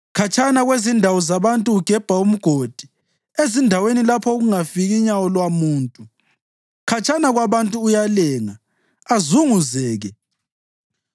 Khatshana kwezindawo zabantu ugebha umgodi, ezindaweni lapho okungafiki nyawo lwamuntu; khatshana kwabantu uyalenga, azunguzeke.